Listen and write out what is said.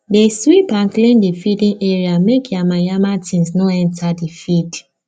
dey sweep and clean the feeding area make yamayama things no enter the feed